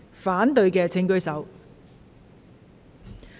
反對的請舉手。